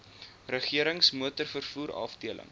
regerings motorvervoer afdeling